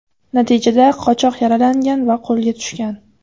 Natijada qochoq yaralangan va qo‘lga tushgan.